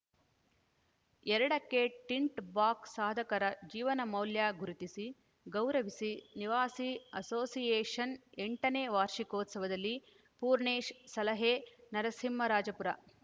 ಎರಡಕ್ಕೆ ಟಿಂಟ್‌ ಬಾಕ್ಸ್ ಸಾಧಕರ ಜೀವನ ಮೌಲ್ಯ ಗುರಿತಿಸಿ ಗೌರವಿಸಿ ನಿವಾಸಿ ಅಸೋಸಿಯೇಷನ್‌ ಎಂಟನೇ ವಾರ್ಷಿಕೋತ್ಸವದಲ್ಲಿ ಪೂರ್ಣೇಶ್‌ ಸಲಹೆ ನರಸಿಂಹರಾಜಪುರ